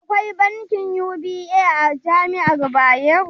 Akwai bankin UBA a jami'ar Bayero?